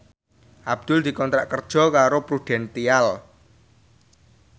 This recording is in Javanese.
Abdul dikontrak kerja karo Prudential